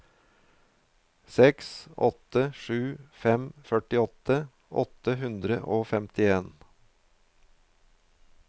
seks åtte sju fem førtiåtte åtte hundre og femtien